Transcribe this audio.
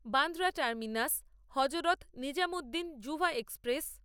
Bandra terminus Hazrat Nizamuddin জুভা express